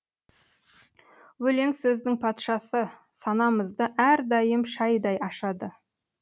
өлең сөздің патшасы санамызды әрдайым шайдай ашады